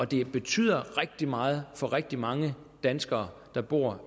det betyder rigtig meget for rigtig mange danskere der bor